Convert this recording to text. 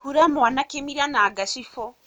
Hura mwana kīmira na ngacibū.